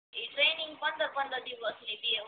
ઇ training પંદર પંદર દિવસની બે હોય